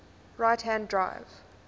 right hand drive